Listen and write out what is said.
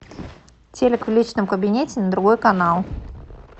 телик в личном кабинете на другой канал